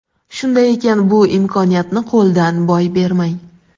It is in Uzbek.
Shunday ekan bu imkoniyatni qo‘ldan boy bermang.